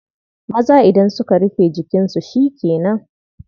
Maza idan suka rufe jikinsu shi ke nan.